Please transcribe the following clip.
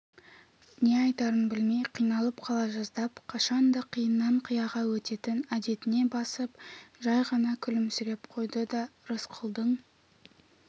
не айтарын білмей қиналып қала жаздап қашанда қиыннан қияға өтетін әдетіне басып жай ғана күлімсіреп қойды да рысқұлдың